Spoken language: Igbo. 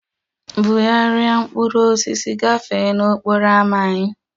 Bugharịa mkpụrụ osisi gafee n'okporo ámá anyị!